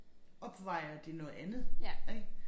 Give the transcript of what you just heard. Opvejer det noget andet ik